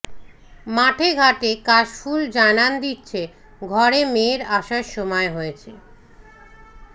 মাঠে ঘাটে কাশ ফুল জানান দিচ্ছে ঘরে মেয়ের আসার সময় হয়েছে